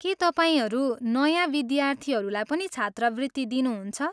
के तपाईँहरू नयाँ विद्यार्थीहरूलाई पनि छात्रवृत्ति दिनुहुन्छ?